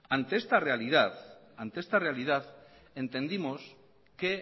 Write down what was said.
ante esta realidad entendimos que